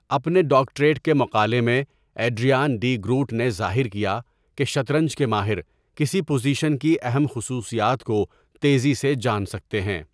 اپنے ڈاکٹریٹ کے مقالے میں، ایڈریان ڈی گروٹ نے ظاہر کیا کہ شطرنج کے ماہر کسی پوزیشن کی اہم خصوصیات کو تیزی سے جان سکتے ہیں۔